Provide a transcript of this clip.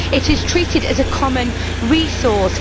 it is treated as a common resource